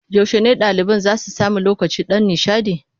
Yaushe ne ɗaliban za su sami lokacin ɗan nishaɗi?